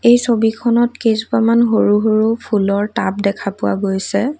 এই ছবিখনত কেইজোপামান সৰু সৰু ফুলৰ টাব দেখা পোৱা গৈছে।